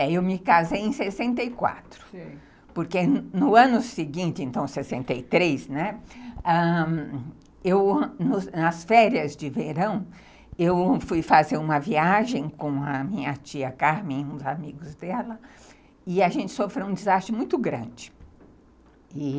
Eu me casei em sessenta e quatro, porque no ano seguinte, então sessenta e três, né, nas férias de verão, eu fui fazer uma viagem com a minha tia Carmen, uns amigos dela, e a gente sofreu um desastre muito grande.